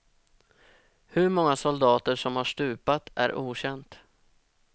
Hur många soldater som har stupat är okänt.